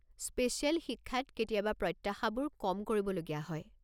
Special শিক্ষাত কেতিয়াবা প্ৰত্যাশাবোৰ কম কৰিবলগীয়া হয়।